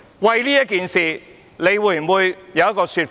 為此，你會否有一個說法？